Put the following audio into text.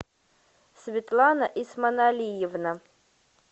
светлана исманалиевна